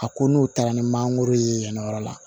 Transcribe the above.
A ko n'o taara ni mangoro ye yan yɔrɔ la